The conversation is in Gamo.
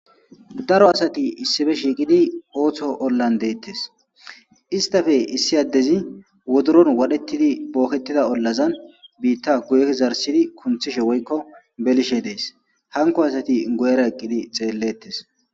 Daro asati issippe shiiqidi ootho ollan deetees; istappe issi addezi wodoron wadhdhetidi bokketida ollazan bitta guye zarththidi kunththishe woykko belishe dees; hankko asati guyera eqqidi xeeletes.